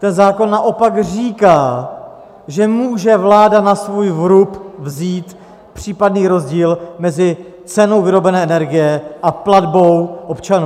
Ten zákon naopak říká, že může vláda na svůj vrub vzít případný rozdíl mezi cenou vyrobené energie a platbou občanů.